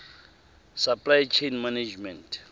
supply chain management